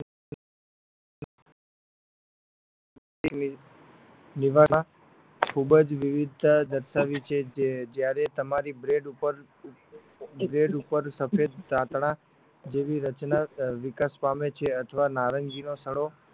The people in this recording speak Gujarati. ખૂબ જ વિવિધ દર્શાવી છે જે જ્યારે તમારી બ્રેડ ઉપર સફેદ તાતણા જેવી રચના વિકાસ પામે છે અથવા નારંગી નો સડો